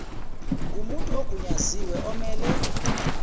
ngomuntu ogunyaziwe omele